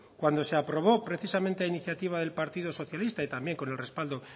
cuando se aprobó precisamente a iniciativa del partido socialista y también con el respaldo